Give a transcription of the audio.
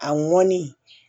A mɔnni